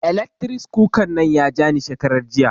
Eletris kuka nan ya ja ni shekarar jiya